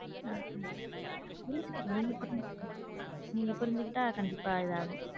நீங்க பண்ணது தப்பு நீங்க புரிஞ்சுகிட்டா கண்டிப்பா இதாகும்.